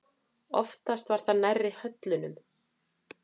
Oftast var það nærri höllunum.